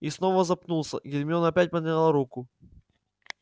и снова запнулся и гермиона опять подняла руку